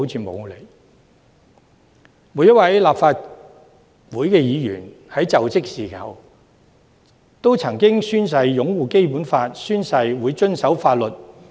每位立法會議員在就職時均曾經宣誓擁護《基本法》及遵守法律。